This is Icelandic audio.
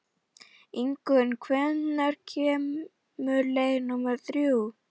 Ingunn, hvenær kemur leið númer þrjú?